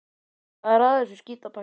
Hvað er að þessu skítapakki?